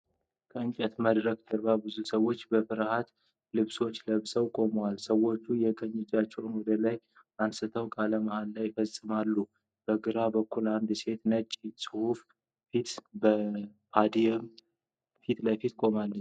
ከእንጨት መድረክ ጀርባ ብዙ ሰዎች በፍትህ ልብሶች ለብሰው ቆመዋል። ሰዎቹ የቀኝ እጆቻቸውን ወደ ላይ አንስተው ቃለ መሃላ ይፈጽማሉ። በግራ በኩል አንድ ሴት በነጭ ጽሑፍ ፊት ከፖዲየም ፊት ለፊት ትቆማለች።